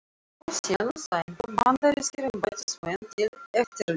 Aþenu sætu bandarískir embættismenn til eftirlits.